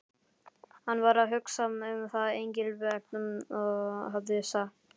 Hann var að hugsa um það sem Engilbert hafði sagt.